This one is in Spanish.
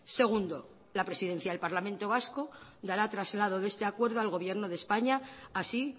segundo la presidencia del parlamento vasco dará traslado de este acuerdo al gobierno de españa así